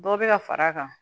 Dɔ bɛ ka fara a kan